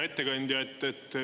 Hea ettekandja!